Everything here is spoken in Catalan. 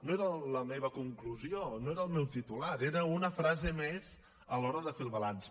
no era la meva conclusió no era el meu titular era una frase més a l’hora de fer el balanç